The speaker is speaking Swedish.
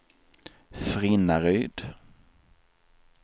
Frinnaryd